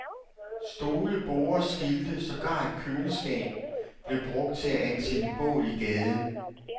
Stole, borde, skilte, sågar et køleskab blev brugt til at antænde bål i gaden.